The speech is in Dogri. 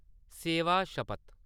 सेवा सपथ